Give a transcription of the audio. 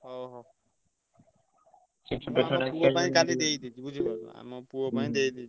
ହଉ ହଉ। ପୁଅ ପାଇଁ କାଲି ଦେଇଦେବି ବୁଝିଲ ଆମ ପୁଅ ପାଇଁ ଦେଇଦେବି।